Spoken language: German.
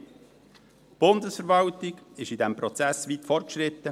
Die Bundesverwaltung ist in diesem Prozess weit fortgeschritten.